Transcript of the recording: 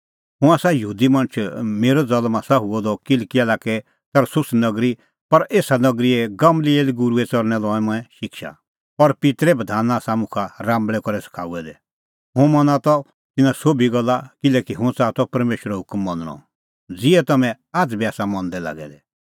हुंह आसा यहूदी मणछ मेरअ ज़ल्म आसा हुअ द किलकिआ लाक्कै तरसुस नगरी पर एसा नगरी गमलिएल गूरूए च़रणैं लई मंऐं शिक्षा और पित्तरे बधान आसा मुखा राम्बल़ै करै सखाऊऐ दै हुंह मना त तिन्नां सोभी गल्ला किल्हैकि हुंह च़ाहा त परमेशरो हुकम मनणअ ज़िहै तम्हैं आझ़ बी आसा मंदै लागै दै